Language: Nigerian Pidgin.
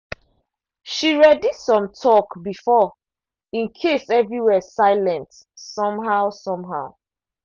she ready some talk before in case everywhere silent somehow. somehow.